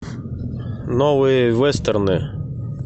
новые вестерны